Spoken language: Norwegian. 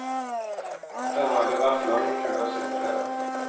Der har det vært lange køer siden fredag.